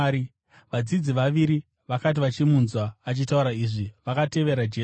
Vadzidzi vaviri vakati vachimunzwa achitaura izvi, vakatevera Jesu.